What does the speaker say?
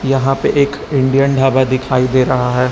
यहां पर एक इंडियन ढाबा दिखाई दे रहा है।